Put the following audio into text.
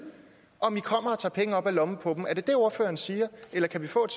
om i kommer og tager penge op af lommen på dem er det det ordføreren siger eller kan vi få et